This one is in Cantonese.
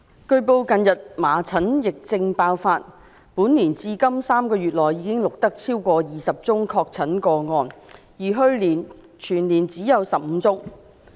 據報，近日麻疹疫症爆發：本年至今已錄得超過20宗確診個案，而去年全年只有15宗。